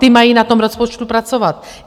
Ty mají na tom rozpočtu pracovat!